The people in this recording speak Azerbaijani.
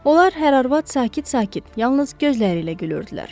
Onlar hər arvad sakit-sakit yalnız gözləri ilə gülürdülər.